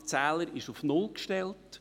Der Zähler ist auf null gestellt.